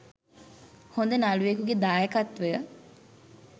හොඳ නළුවෙකුගෙ දායකත්වය